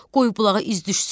Qoy bulağa iz düşsün,